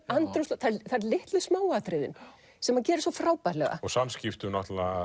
andrúmslofti það eru litlu smáatriðin sem hann gerir svo frábærlega og samskiptum náttúrulega